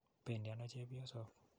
Pendi ano chepyosok?